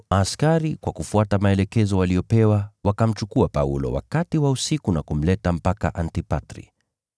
Hivyo askari, kwa kufuata maelekezo waliyopewa, wakamchukua Paulo wakati wa usiku na kumleta mpaka Antipatri.